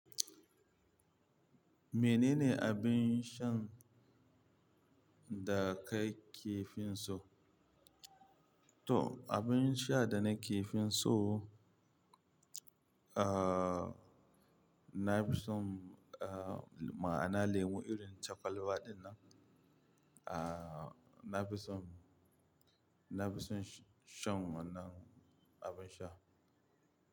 Menene abin shan da ka fi so? To, abin sha da na ke fi so, ah, na fi so, ah, ma'ana lemu irin cakwalwa dinnan. Ah, na fi so, na fi so shan wannan abin sha.